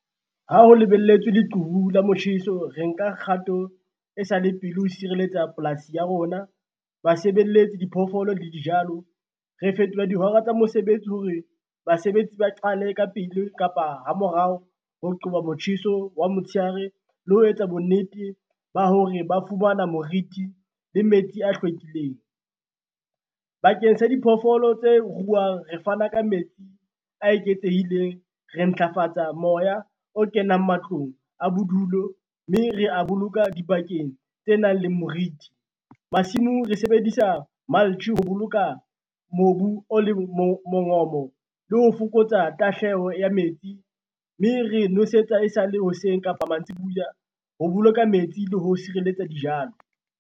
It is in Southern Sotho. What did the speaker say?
Ha ho lebelletswe leqhubu la motjheso, re nka kgato e sa le pele ho sireletsa polasi ya rona, ba sebeletsi, diphoofolo le dijalo re fetola dihora tsa mosebetsi hore basebetsi ba qale ka pele kapa ha morao ho qoba motjheso wa motshehare le ho etsa bonnete ba hore ba fumana moriti le metsi a hlwekileng. Bakeng sa diphoofolo tse ruwang re fana ka metsi a eketsehileng, re ntlafatsa moya o kenang matlong a bodulo, mme re a boloka dibakeng tse nang le moriti. Masimong re sebedisa ho boloka mobu o leng mongobo le ho fokotsa tahleho ya metsi, mme re nosetsa e sale hoseng kapa mantsibuya, ho boloka metsi le ho sireletsa dijalo.